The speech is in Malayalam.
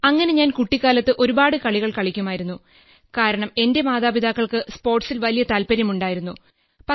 അങ്ങനെ ഞാൻ കുട്ടിക്കാലത്ത് ഒരുപാട് കളികൾ കളിക്കുമായിരുന്നു കാരണം എന്റെ മാതാപിതാക്കൾക്ക് സ്പോർട്സിൽ വലിയ താൽപര്യമുണ്ടായിരുന്നു